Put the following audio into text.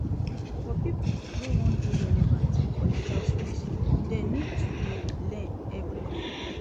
For pipo wey won de relevant for di job space dem need to de learn everyday